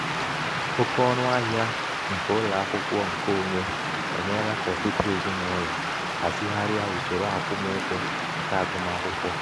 oke ọnụ ahịa nke ụlọ akwụkwọ nke onwe emeela ka ọtụtụ um ezinaụlọ hazigharia usoro akwụmụgwọ nke agụmakwụkwọ.